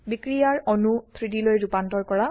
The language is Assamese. বিক্ৰিয়াৰ অণু 3Dলৈ ৰুপান্তৰ কৰা